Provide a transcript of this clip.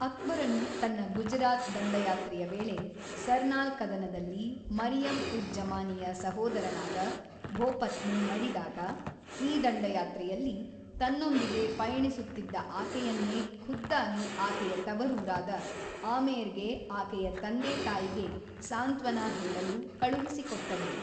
ಅಕ್ಬರನು ತನ್ನ ಗುಜರಾತ್ ದಂಡಯಾತ್ರೆಯ ವೇಳೆ ಸರ್ನಾಲ್ ಕದನದಲ್ಲಿ ಮರಿಯಮ್-ಉಜ್-ಜಮಾನಿಯ ಸಹೋದರನಾದ ಭೋಪತ್‌ನು ಮಡಿದಾಗ, ಈ ದಂಡಯಾತ್ರೆಯಲ್ಲಿ ತನ್ನೊಂದಿಗೆ ಪಯಣಿಸುತ್ತಿದ್ದ ಆಕೆಯನ್ನೇ ಖುದ್ದಾಗಿ ಆಕೆಯ ತವರೂರಾದ ಆಮೇರ್‌ಗೆ ಆಕೆಯ ತಂದೆತಾಯಿಗೆ ಸಾಂತ್ವನ ಹೇಳಲು ಕಳುಹಿಸಿಕೊಟ್ಟನು.